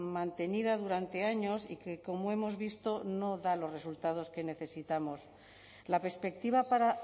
mantenida durante años y que como hemos visto no da los resultados que necesitamos la perspectiva para